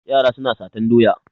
Yara suna satan doya.